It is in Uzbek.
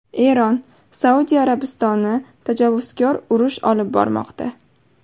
Eron: Saudiya Arabistoni tajovuzkor urush olib bormoqda.